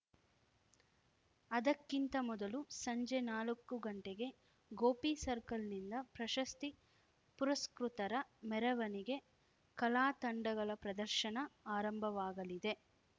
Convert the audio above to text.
ಅದಕ್ಕಿಂತ ಮೊದಲು ಸಂಜೆ ನಾಲಕ್ಕುಗಂಟೆಗೆ ಗೋಪಿ ಸರ್ಕಲ್‌ನಿಂದ ಪ್ರಶಸ್ತಿ ಪುರಸ್ಕೃತರ ಮೆರವಣಿಗೆ ಕಲಾತಂಡಗಳ ಪ್ರದರ್ಶನ ಆರಂಭವಾಗಲಿದೆ